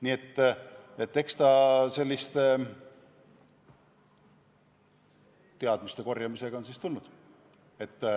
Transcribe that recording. Nii et eks see teadmiste korjamisega ole tulnud.